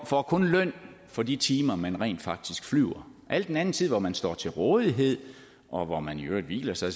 får kun løn for de timer man rent faktisk flyver al den anden tid hvor man står til rådighed og hvor man i øvrigt hviler sig